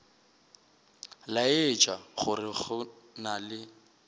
laetša gore go na le